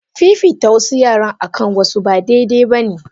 Fifita wasu yara akan wasu ba dai dai bane.